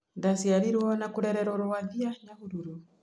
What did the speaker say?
Ndaciarĩiruo na kũrererũo Rwathia, Nyahururu